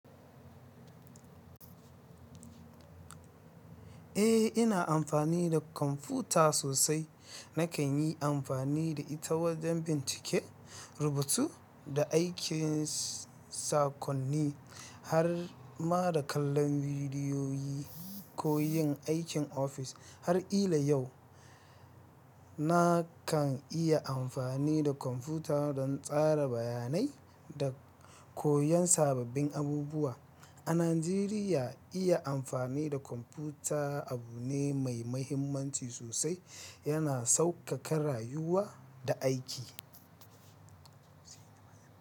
Eh, ina amfani da kwamfuta sosai. Nakan yi amfani da ita wajen bincike, rubutu da aikin sakonni har ma da kallon bidiyoyi ko yin aikin ofis. Har ila yau, na kan iya amfani da kwamfuta don tsara bayanai da koyon sababbin abubuwa. A Najeriya, iya amfani da kwamfuta abu ne mai mahimmanci sosai, yana sauƙaƙa rayuwa da aiki.